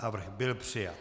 Návrh byl přijat.